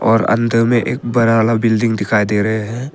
और अंदर में एक बड़ा वाला बिल्डिंग दिखाई दे रहे हैं।